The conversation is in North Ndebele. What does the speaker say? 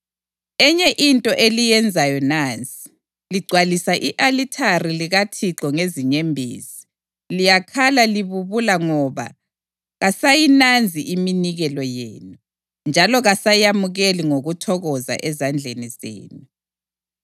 Enye into eliyenzayo nansi: Ligcwalisa i-alithari likaThixo ngezinyembezi. Liyakhala libubula ngoba kasayinanzi iminikelo yenu, njalo kasayamukeli ngokuthokoza ezandleni zenu.